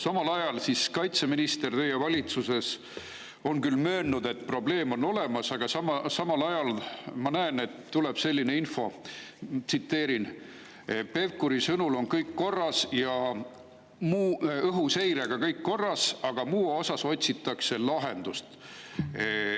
Teie valitsuse kaitseminister on küll möönnud, et probleem on olemas, aga samal ajal tuli selline info, ma tsiteerin, et Pevkuri sõnul on õhuseirega kõik korras ja muus osas otsitakse lahendust.